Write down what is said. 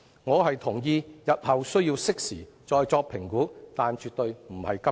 我同意日後需要適時再作評估，但絕對不是今天。